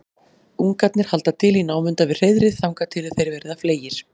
ungarnir halda til í námunda við hreiðrið þangað til þeir verða fleygir